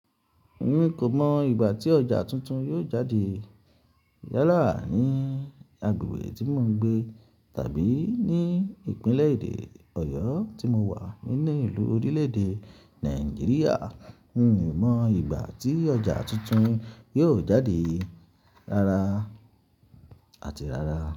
N o mọ ìgbà tí ọjà tuntun yóò jáde yálà ní agbègbè tí mo ń gbé tàbí ní Ìpínlẹ̀ Èdè Ọ̀yọ́ tí mo wà nínú ìlú orílẹ̀-èdè Nàìjíríà. N o mọ ìgbà tí ọjà tuntun yóò jáde rara àti rara.